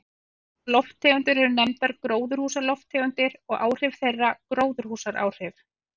Þessar lofttegundir eru nefndar gróðurhúsalofttegundir og áhrif þeirra gróðurhúsaáhrif.